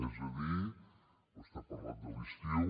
és a dir vostè ha parlat de l’estiu